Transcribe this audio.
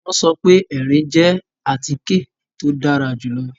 Wọn sọ pe ẹrin jẹ àtike to dàrà julọ